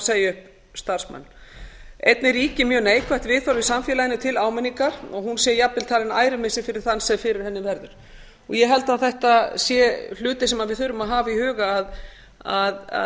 upp starfsmanni einnig ríkir mjög neikvætt viðhorf í samfélaginu til áminningar og hún sé jafnvel talinn ærumissir fyrir þann sem fyrir henni verður ég held að þetta séu hlutir sem við þurfum að hafa í huga að